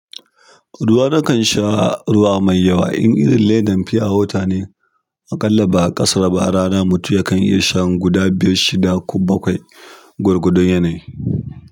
Ruwa nakan sha ruwa mai yawa in irin ledan fiyo wata ne, aƙalla ba a ƙasaru ba a rana mutu yakan iya shan guda biyar, shida ko bakwai gwargwadon yanayi.